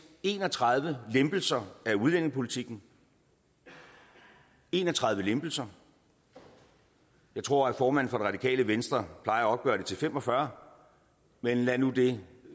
en og tredive lempelser af udlændingepolitikken en og tredive lempelser jeg tror at formanden for det radikale venstre plejer at opgøre det til fem og fyrre men lad nu det